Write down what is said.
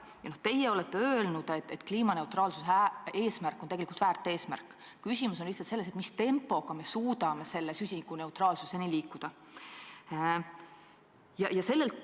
Teie olete öelnud, et kliimaneutraalsuse eesmärk on tegelikult väärt eesmärk, küsimus on lihtsalt selles, mis tempoga me suudame süsinikuneutraalsuse poole liikuda.